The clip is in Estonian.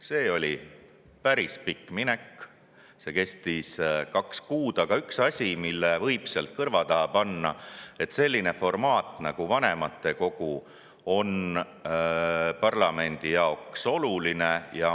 See oli päris pikk minek ja kestis kaks kuud, aga on üks asi, mille võib sealt kõrva taha panna: selline formaat nagu vanematekogu on parlamendi jaoks oluline.